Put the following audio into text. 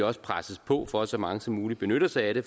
også presses på for at så mange som muligt benytter sig af det